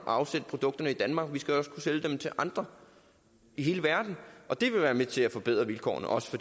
afsætte produkterne i danmark de skal også kunne sælges dem til andre i hele verden og det vil være med til at forbedre vilkårene også